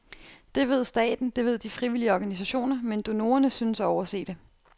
Det ved staten, det ved de frivillige organisationer, men donorerne synes at overse det.